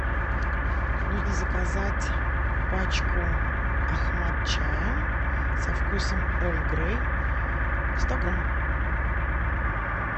нужно заказать пачку ахмад чая со вкусом эрл грей сто грамм